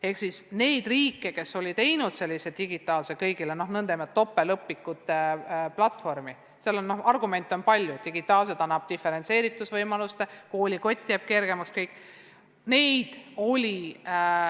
Ehk siis neid riike, kes olid teinud sellise digitaalse, kõigile kättesaadava nn topeltõpikute platvormi, seal on argumente palju – digitaalsus, diferentseeritusvõimalused, koolikott jääb kergemaks, kõik muu.